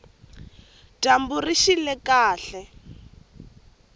dyambu rixile kahle